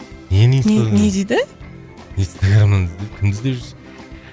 нені инстадан не дейді инстаграмнан кімді іздеп жүрсіз